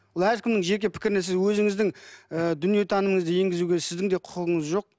әркімнің жеке пікіріне сіз өзіңіздің ы дүниетанымыңызды енгізуге сіздің де құқығыңыз жоқ